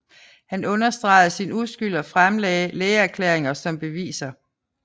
Han understregede sin uskyld og fremlagde lægeerklæringer som beviser